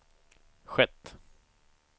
skett